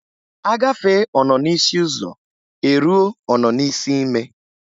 A gafee ọnọ n'isi ụzọ e ruo ọnọ n'isi ime.